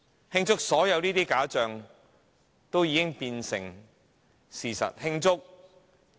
慶祝所有假象都已變成事實嗎？